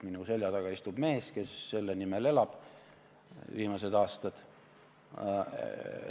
Minu selja taga istub mees, kes on selle nimel viimased aastad elanud.